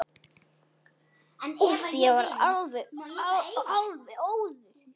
Úff, ég verð alveg óður.